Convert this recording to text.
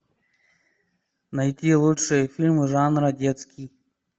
найти лучшие фильмы жанра детский